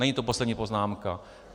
Není to poslední poznámka.